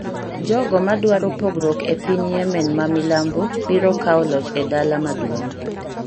Jogo ma dwaro pogruok e piny Yemen ma milambo biro kawo loch e dala maduong'